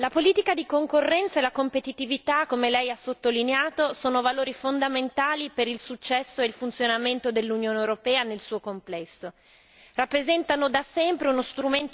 Signora Presidente, onorevoli colleghi, Commissaria, la politica di concorrenza e la competitività, come lei ha sottolineato, sono valori fondamentali per il successo e il funzionamento dell'Unione europea nel suo complesso